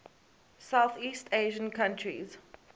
southeast asian countries